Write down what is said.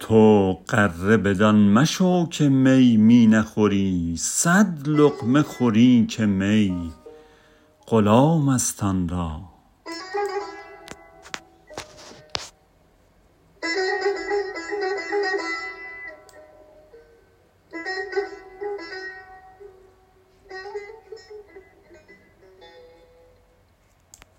تو غره بدان مشو که می می نخوری صد لقمه خوری که می غلام است آن را